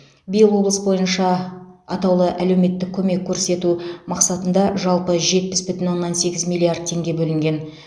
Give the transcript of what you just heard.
биыл облыс бойынша атаулы әлеуметтік көмек көрсету мақсатында жалпы жетпіс бүтін оннан сегіз миллиард теңге бөлінген